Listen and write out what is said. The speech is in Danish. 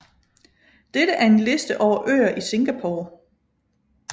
Dette er en liste over øer i Singapore